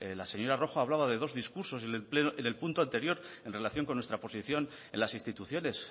la señora rojo hablaba de dos discursos en el punto anterior en relación con nuestra posición en las instituciones